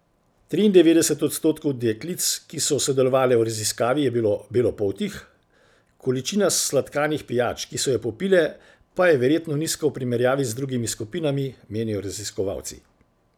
Triindevetdeset odstotkov deklic, ki so sodelovale v raziskavi, je bilo belopoltih, količina sladkanih pijač, ki so jo popile, pa je verjetno nizka v primerjavi z drugimi skupinami, menijo raziskovalci.